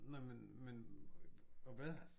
Nej men men og hvad?